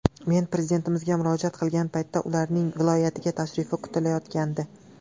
Men Prezidentimizga murojaat qilgan paytda ularning viloyatga tashrifi kutilayotgandi.